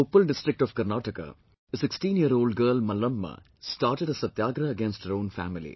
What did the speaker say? In Koppal district of Karnataka, a sixteen year old girl Mallamma started a Satyagrah against her own family